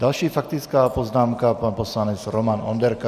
Další faktická poznámka, pan poslanec Roman Onderka.